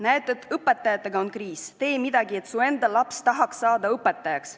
Näed, et õpetajatega on kriis – tee midagi, et su enda laps tahaks saada õpetajaks.